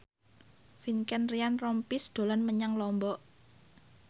Vincent Ryan Rompies dolan menyang Lombok